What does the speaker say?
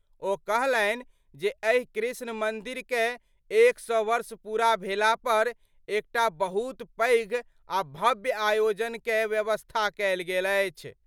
ओ कहलनि जे एहि कृष्ण मंदिर कए 100 वर्ष पूरा भेला पर एकटा बहुत पैघ आ भव्य आयोजन कए व्यवस्था कयल गेल अछि।